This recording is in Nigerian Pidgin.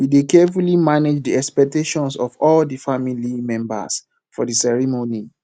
we dey carefully manage the expectations of all di family members for di ceremony